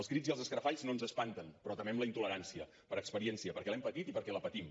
els crits i els escarafalls no ens espanten però temem la intolerància per experiència perquè l’hem patit i perquè la patim